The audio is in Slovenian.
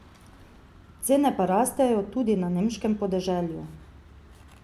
Cene pa rastejo tudi na nemškem podeželju.